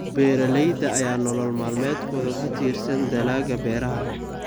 Beeralayda ayaa nolol maalmeedkooda ku tiirsan dalagga beeraha.